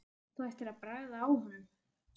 Þú ættir að bragða á honum